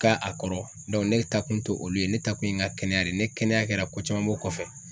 Ka a kɔrɔ ne taakun tɛ olu ye ne taakun ye ŋa kɛnɛya de ye, ni kɛnɛya kɛra ko caman b'o kɔfɛ.